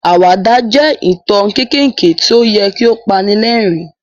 Àwàdà jẹ́ ìtàn kéékèèké tí ó yẹ kí ó pani lẹ́rìn-ín.